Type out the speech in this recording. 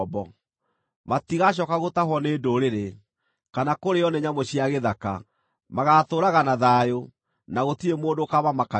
Matigacooka gũtahwo nĩ ndũrĩrĩ, kana kũrĩĩo nĩ nyamũ cia gĩthaka. Magaatũũraga na thayũ, na gũtirĩ mũndũ ũkaamamakagia.